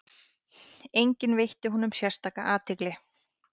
Enginn veitti honum sérstaka athygli.